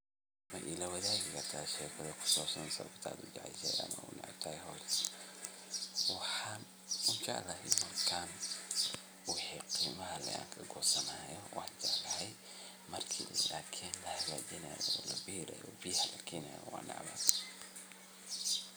Ma ilawadaagi karta sheeko ku saabsan sababta aad ujeceshahay ama uneceb tahay howshan? waxaa ujeclahy markaan wixi qeymaha kagoosanayo waan jeclahay marki is adkeyn laxagaajinayo labeerayo waan necbahay.